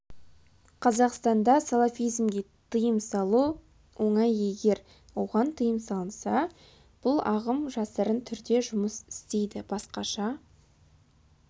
қазақстанда салафизмге тыйым салу оңай егер оған тыйым салынса бұл ағым жасырын түрде жұмыс істейді басқаша